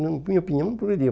Na minha opinião, não progrediu.